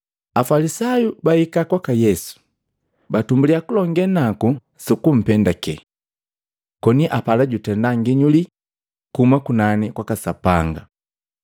Afalisayu bahika kwaka Yesu, batumbulya kulonge naku sukumpendake. Koni apala jutenda nginyuli kuhuma kunani kwaka Sapanga.